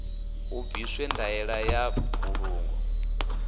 hu bviswe ndaela ya mbulungo